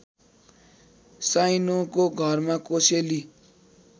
साइनोको घरमा कोसेली